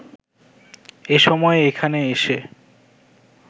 এ সময় এখানে এসে